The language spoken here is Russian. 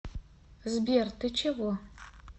сбер ты чего